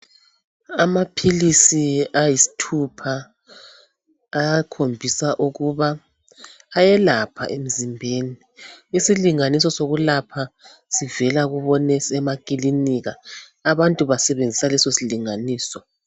Amaphilisi ayisithupha ayakhombisa ukuba ayelapha emzimbeni isilinganiso sokulapha sivela kubonesi emakilinika abantu basebenzisa leso silinganiso.